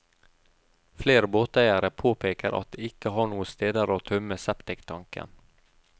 Flere båteiere påpeker at de ikke har noen steder å tømme septiktanken.